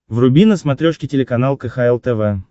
вруби на смотрешке телеканал кхл тв